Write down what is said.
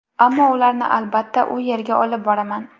Ammo ularni, albatta, u yerga olib boraman”.